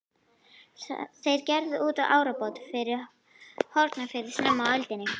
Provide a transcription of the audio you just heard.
Þeir gerðu út árabát frá Hornafirði snemma á öldinni.